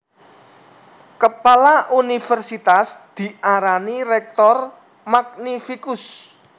Kepala univèrsitas diarani rector magnificus